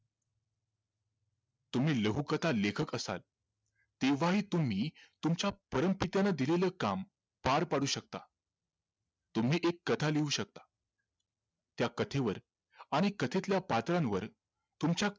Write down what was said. तुम्ही लघुकथा लेखक असाल तेव्हाही तुम्ही तुमच्या परमपित्याने दिलेलं काम पार पाडू शकता तुम्ही एक कथा लिहू शकता त्या कथेवर आणि कथेतल्या पात्रांवर तुमच्या